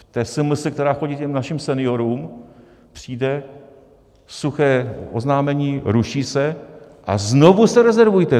V té SMS, která chodí těm našim seniorům, přijde suché oznámení: ruší se a znovu se rezervujte.